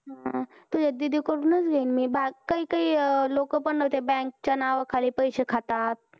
हम्म तुझ्या दीदी कडून च घेईल मी बाकी काही काही लोक पण bank च्या नावं खाली पैसे खातात